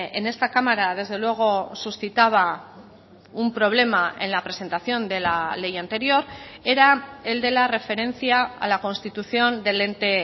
en esta cámara desde luego suscitaba un problema en la presentación de la ley anterior era el de la referencia a la constitución del ente